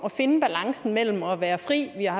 at finde balancen mellem at være fri vi har